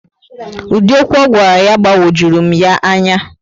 Ụdị okwu ogwara ya gbagwojurum ya ányá